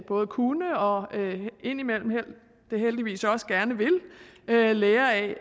både kunne og indimellem da heldigvis også gerne vil lære af